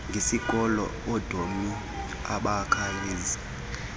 ngesikolo oodlamini abakayazi